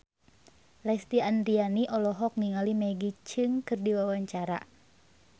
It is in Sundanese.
Lesti Andryani olohok ningali Maggie Cheung keur diwawancara